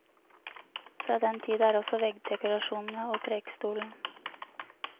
Fra den tid er også veggdekorasjonene og prekestolen.